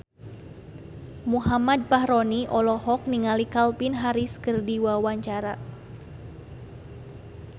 Muhammad Fachroni olohok ningali Calvin Harris keur diwawancara